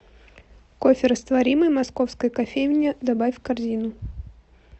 кофе растворимый московская кофейня добавь в корзину